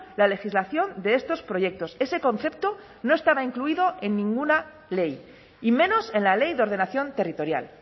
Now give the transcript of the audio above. la legislación de estos proyectos ese concepto no estaba incluido en ninguna ley y menos en la ley de ordenación territorial